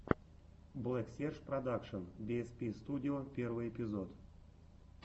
блэксерж продакшен биэспи студио первый эпизод